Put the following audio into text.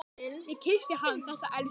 Ég kyssti hann, þessa elsku.